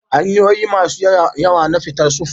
Hanyoyi masu yawa na fita sufuri